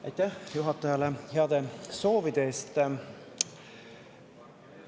Aitäh juhatajale heade soovide eest!